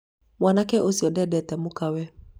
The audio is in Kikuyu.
mwanake ũcio ndendete mũkawe